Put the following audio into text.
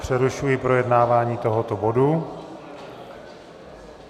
Přerušuji projednávání tohoto bodu.